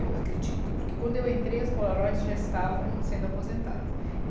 Eu acredito, porque, quando eu entrei, as Polaroids já estavam sendo aposentadas.